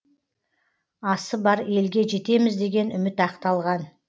асы бар елге жетеміз деген үміт ақталған